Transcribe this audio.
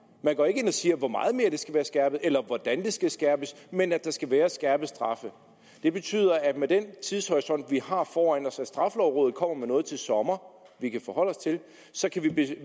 man går ikke ind og siger hvor meget mere de skal være skærpede eller hvordan de skal skærpes men at der skal være skærpede straffe det betyder at med den tidshorisont vi har foran os hvor straffelovrådet kommer med noget til sommer vi kan forholde os til så kan vi